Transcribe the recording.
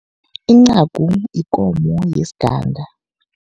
Incagu yikomo yesiganga.